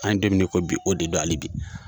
An ye don min na ko bi o de don hali bi.